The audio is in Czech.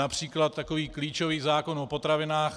Například takový klíčový zákon o potravinách.